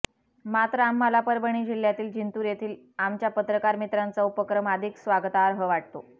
मात्र आम्हाला परभणी जिल्हयातील जिंतूर येथील आमच्या पत्रकार मित्रांचा उपक्रम अधिक स्वागतार्ह वाटतो